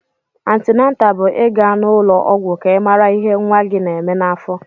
Antịnátà bụ ị ga n'ụlọ ọgwụ ka ị mara ihé nwa gị na-èmè n'afọ